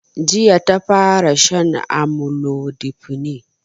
Jiya ta fara shan amlodipine